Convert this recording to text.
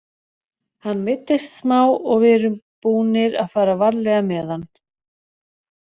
Hann meiddist smá og við erum búnir að fara varlega með hann.